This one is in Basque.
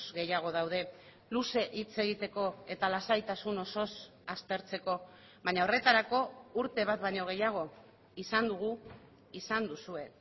gehiago daude luze hitz egiteko eta lasaitasun osoz aztertzeko baina horretarako urte bat baino gehiago izan dugu izan duzue